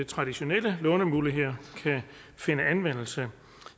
traditionelle lånemuligheder kan finde anvendelse